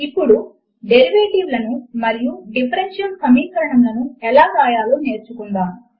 ఇప్పుడు డేరివేటివ్ లను మరియు డిఫరెన్షియల్ సమీకరణములను ఎలా వ్రాయాలో నేర్చుకుందాము